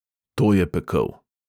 To je pekel.